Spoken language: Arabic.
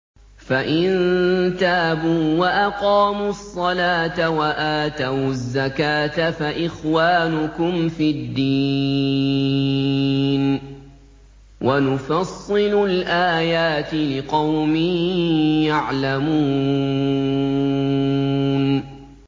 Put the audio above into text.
فَإِن تَابُوا وَأَقَامُوا الصَّلَاةَ وَآتَوُا الزَّكَاةَ فَإِخْوَانُكُمْ فِي الدِّينِ ۗ وَنُفَصِّلُ الْآيَاتِ لِقَوْمٍ يَعْلَمُونَ